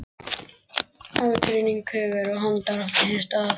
Aðgreining hugar og handar átti sér stað.